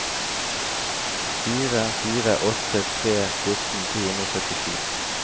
fire fire åtte tre fjorten to hundre og syttisju